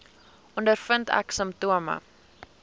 ondervind ek simptome